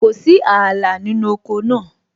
Kò sí ààlà nínú oko náà